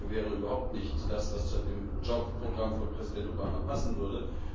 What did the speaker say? Eine Aufwertung wäre überhaupt nicht das, was zu dem Job Programm von Präsident Obama passen würde.